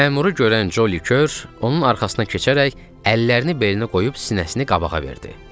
Məmuru görən Joli Kür onun arxasına keçərək əllərini belinə qoyub sinəsini qabağa verdi.